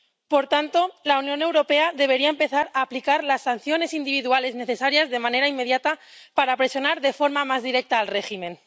Por tanto, la Unión Europea debería empezar a aplicar las sanciones individuales necesarias de manera inmediata para presionar de forma más directa al régimen.